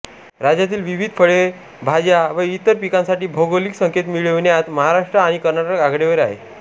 राज्यातील विविध फळे भाज्या व इतर पिकांसाठी भौगोलिक संकेत मिळविण्यात महाराष्ट्र आणि कर्नाटक आघाडीवर आहे